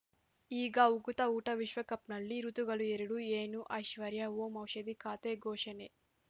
ಈಗ ಉಕುತ ಊಟ ವಿಶ್ವಕಪ್‌ನಲ್ಲಿ ಋತುಗಳು ಎರಡು ಏನು ಐಶ್ವರ್ಯಾ ಓಂ ಔಷಧಿ ಖಾತೆ ಘೋಷಣೆ